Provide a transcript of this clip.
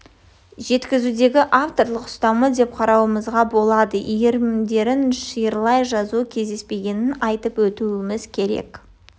жеткізудегі авторлық ұстанымы деп қарауымызға болады иірімдерін шиырлай жазу кездеспегенін айтып өтуіміз керек